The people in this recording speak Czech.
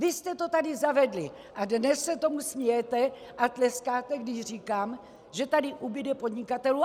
Vy jste to tady zavedli a dnes se tomu smějete a tleskáte, když říkám, že tady ubude podnikatelů.